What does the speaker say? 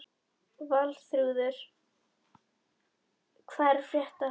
Valþrúður, hvað er að frétta?